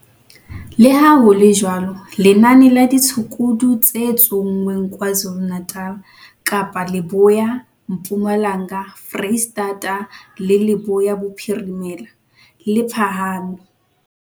Leha ho le jwalo, lenane la ditshukudu tse tsonngweng KwaZulu-Natal, Kapa Leboya, Mpumalanga, Freistata le Leboya Bophirimela, le phahame.